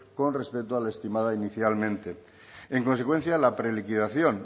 con respecto a lo estimado inicialmente en consecuencia la preliquidación